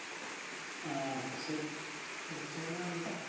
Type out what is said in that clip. ആ അപ്പൊ ശരി വിളിച്ചതിന് നന്ദി